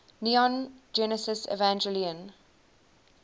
neon genesis evangelion